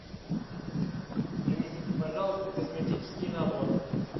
принесите пожалуйста косметический набор